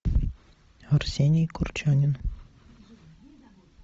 арсений курчанин